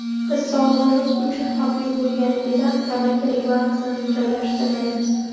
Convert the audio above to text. Biz sog‘lig‘imiz uchun xavfli bo‘lganligidan tamaki reklamasini joylashtirmaymiz.